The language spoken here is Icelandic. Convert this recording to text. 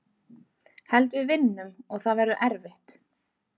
Held við vinnum og það verður erfitt.